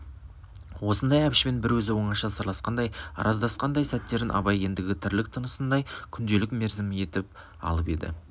осындай әбішпен бір өзі оңаша сырласқандай арыздасқандай сәттерін абай ендігі тірлік тынысындай күнделік мерзімі етіп алып еді